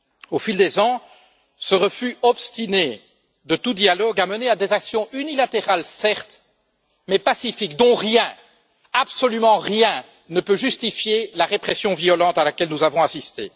Au fil des ans, ce refus obstiné de tout dialogue a mené à des actions unilatérales, certes, mais pacifiques, dont rien, absolument rien, ne peut justifier la répression violente à laquelle nous avons assisté.